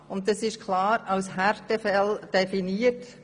Die Härtefälle sind klar als solche definiert.